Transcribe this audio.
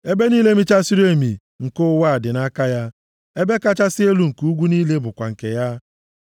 Ebe niile michasịrị emi nke ụwa dị nʼaka ya, ebe kachasị elu nke ugwu niile bụkwa nke ya.